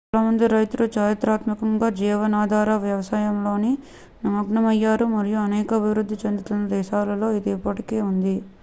చాలా మంది రైతులు చారిత్రాత్మకంగా జీవనాధార వ్యవసాయంలో నిమగ్నమయ్యారు మరియు అనేక అభివృద్ధి చెందుతున్న దేశాలలో ఇది ఇప్పటికీ ఉంది